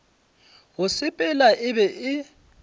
go sepela e be e